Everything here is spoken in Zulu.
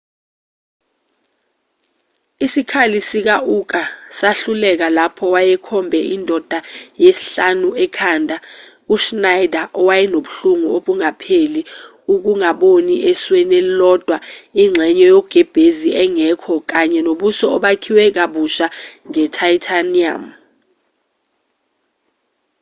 isikhali sika-uka sahluleka lapho wayekhombe indoda yesihlanu ekhanda u-schneider wayenobuhlungu obungapheli ukungaboni esweni elilodwa ingxenye yogebhezi engekho kanye nobuso obakhiwe kabusha nge-titanium